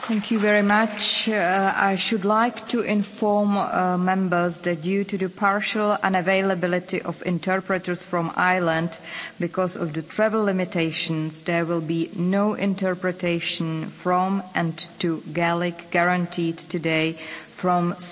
I should like to inform Members that due to the partial unavailability of interpreters from Ireland because of the travel limitations, there will be no interpretation from and to Gaelic guaranteed today from 16.15 until